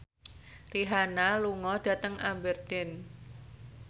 Rihanna lunga dhateng Aberdeen